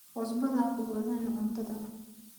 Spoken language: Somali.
cusbadha hakubadhin cuntadha